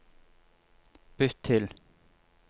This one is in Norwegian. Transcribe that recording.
bytt til